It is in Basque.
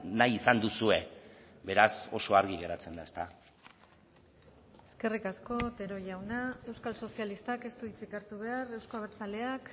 nahi izan duzue beraz oso argi geratzen da eskerrik asko otero jauna euskal sozialistak ez du hitzik hartu behar euzko abertzaleak